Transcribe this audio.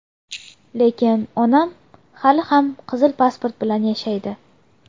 Lekin onam hali ham qizil pasport bilan yashaydi.